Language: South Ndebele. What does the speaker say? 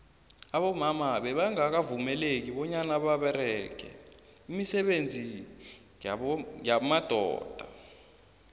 abomama bebanqakavumeleki banyana babereqe imisebenziyabobaba